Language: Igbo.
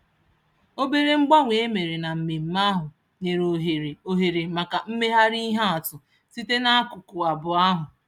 Obere mgbanwe e mere na mmemme ahụ nyere ohere ohere maka mmegharị ihe atụ site n'akụkụ abụọ ahụ.